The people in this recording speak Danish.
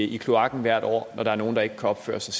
i kloakken hvert år når der er nogen der ikke kan opføre sig